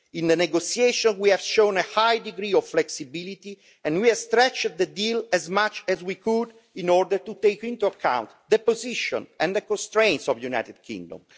In the negotiations we have shown a high degree of flexibility and we have stretched the deal as much as we could in order to take into account the position and the constraints of the United Kingdom.